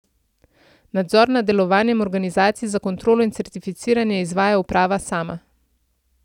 Nadzor nad delovanjem organizacij za kontrolo in certificiranje izvaja uprava sama.